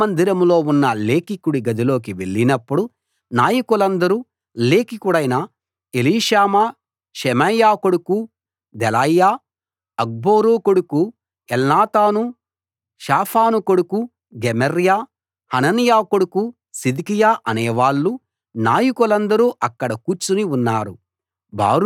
రాజమందిరంలో ఉన్న లేఖికుడి గదిలోకి వెళ్ళినప్పుడు నాయకులందరూ లేఖికుడైన ఎలీషామా షెమాయా కొడుకు దెలాయ్యా అక్బోరు కొడుకు ఎల్నాతాను షాఫాను కొడుకు గెమర్యా హనన్యా కొడుకు సిద్కియా అనే వాళ్ళూ నాయకులందరూ అక్కడ కూర్చుని ఉన్నారు